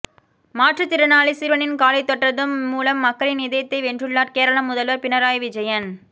மாற்றுத் திறனாளி சிறுவனின் காலைத் தொட்டதன் மூலம் மக்களின் இதயத்தை வென்றுள்ளார் கேரள முதல்வர் பினராயி விஜயன்